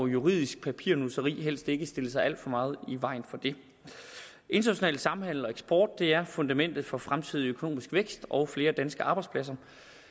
juridisk papirnusseri må helst ikke stille sig alt for meget i vejen for det international samhandel og eksport er fundamentet for fremtidig økonomisk vækst og flere danske arbejdspladser